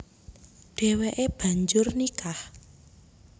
Déwéké banjur nikah